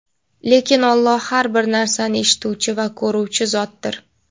Lekin Alloh har bir narsani eshituvchi va ko‘ruvchi zotdir.